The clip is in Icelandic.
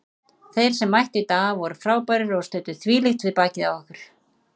Þeir sem mættu í dag voru frábærir og studdu þvílíkt við bakið á okkur.